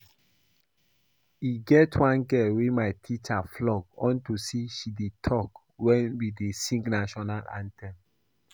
E get one girl wey my teacher flog unto say she dey talk wen we dey sing national anthem